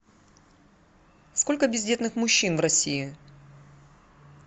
сколько бездетных мужчин в россии